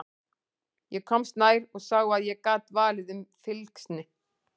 Ég komst nær og sá að ég gat valið um fylgsni.